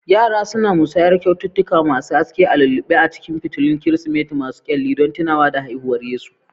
Yara suna musayar kyaututtuka masu haske a lulluɓe a cikin fitilun Kirsimeti masu kyalli don tunawa da haihuwar Yesu.